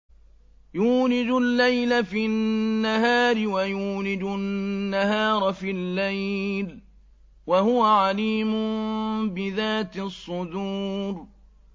يُولِجُ اللَّيْلَ فِي النَّهَارِ وَيُولِجُ النَّهَارَ فِي اللَّيْلِ ۚ وَهُوَ عَلِيمٌ بِذَاتِ الصُّدُورِ